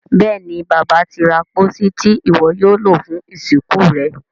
Béèni Bàbá tí ra pósí Ti iwọ yóò lo fún ìsìnkú rẹ.